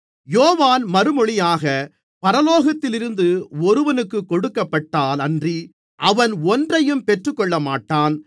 யோவான் மறுமொழியாக பரலோகத்தில் இருந்து ஒருவனுக்குக் கொடுக்கப்பட்டால் அன்றி அவன் ஒன்றையும் பெற்றுக் கொள்ளமாட்டான்